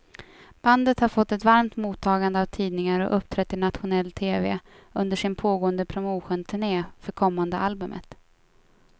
Bandet har fått ett varmt mottagande av tidningar och uppträtt i nationell tv under sin pågående promotionturné för kommande albumet.